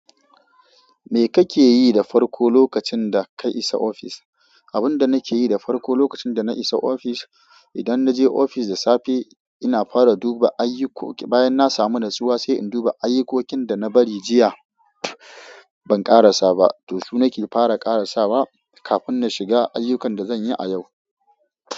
Me kake yi da farko lokacin da ka isa ofis? Abun da nake yi da farko lokacin da na isa ofis, idan na je ofis da safe, ina fara duba ayyukoki. Bayan na samu rasuwa sai in duba ayyukokin da na bari jiya ban ƙarasa ba, to su nake fara ƙarasa kafin na shiga ayyukan da zan yi a yau.